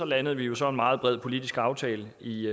landede vi jo så en meget bred politisk aftale i